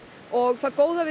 það góða við